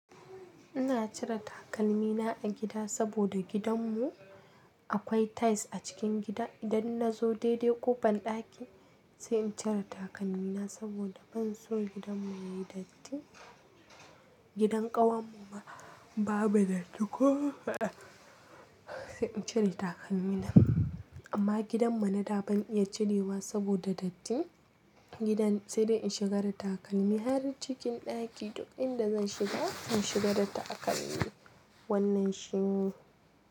Ina cire takalmina a gida saboda gidanmu akwai tiles a cikin gida, Idan na zo daidai ƙofar ɗaki sai in cire takalmina saboda ban so gidanmu yayi datti. Gidan ƙawarmu ma babu datti ko sai in cire takalmina. Amma gidan mu nada ban iya cirewa saboda datti. Gidan sai dai in shiga da takalmi har cikin ɗaki duk inda zan shiga zan shiga da takalmi. Wannan shine.